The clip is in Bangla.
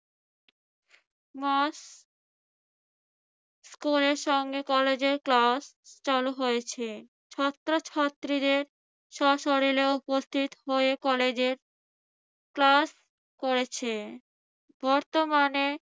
স্কুলের সঙ্গে কলেজের ক্লাস চালু হয়েছে। ছাত্রছাত্রীদের স্বশরীরে উপস্থিত হয়ে কলেজের class করেছে। বর্তমানে